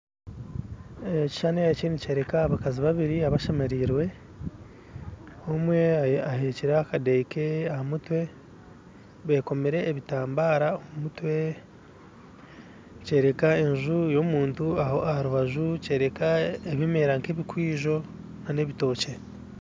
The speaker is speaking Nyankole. Ekishuushani eki nikyereeka abakazi babiiri abashemerirwe omwe aheekire akadeeya keeye aha mutwe bekoomire ebitambara omumutwe nikyoreka enju y'omuntu aharubaju nikyoreka ebimeera nka ebikwijo n'ebitookye